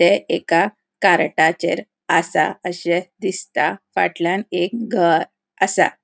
हे एका कारटाचेर आसा अशे दिसता फाटल्यान एक घर आसा.